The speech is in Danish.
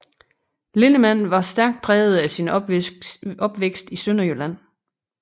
Linnemann var stærk præget af sin opvækst i Sønderjylland